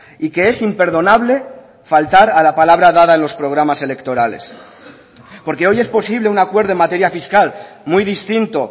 y que es imperdonable faltar a la palabra dada en los programas electorales porque hoy es posible un acuerdo en materia fiscal muy distinto